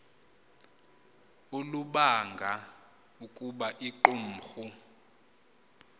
olubanga ukuba iqumrhu